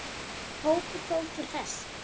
Hópur fór til þess.